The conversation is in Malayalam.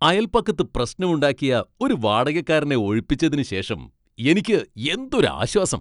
അയൽപക്കത്ത് പ്രശ്നമുണ്ടാക്കിയ ഒരു വാടകക്കാരനെ ഒഴിപ്പിച്ചതിന് ശേഷം എനിക്ക് എന്തൊരു ആശ്വാസം.